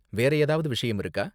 வேறு ஏதாவது விஷயம் இருக்கா?